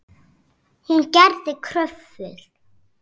Hún gerði kröfur.